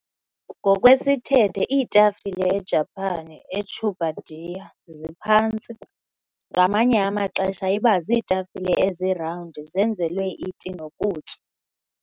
Ngokwesithethe, iitafile e-Japan, "e-chabudai", ziphantsi, ngamanye amaxesha iba ziitafile ezi-round, zenzelwe iti nokutya.